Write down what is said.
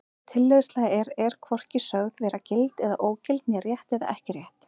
Tilleiðsla er er hvorki sögð vera gild eða ógild né rétt eða ekki rétt.